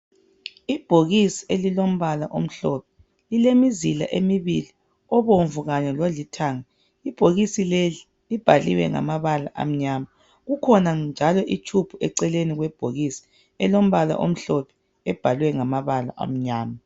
Ibhokisi elilombala omhlophe lilemizila emibili obomvu kanye lolithanga ibhokisi leli libhaliwe ngamabala amnyama kukhona njalo itshubhu eceleni kwebhokisi elombala omhlophe obhalwe ngamabala amnyama.